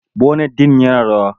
Bonet din yana rawa.